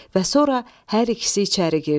Və sonra hər ikisi içəri girdi.